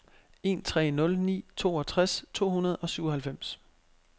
en tre nul ni toogtres to hundrede og syvoghalvfems